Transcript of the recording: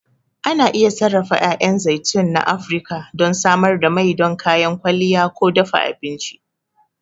Ana iya sarrafa 'ya'yan zaitun na Afirka don samar da mai don kayan kwalliya ko dafa abinci.